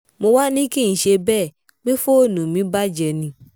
mo wáá ní kì í ṣe bẹ́ẹ̀ pé fóònù mi bàjẹ́ ni